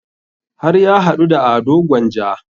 Har ya haɗu da ado gwanja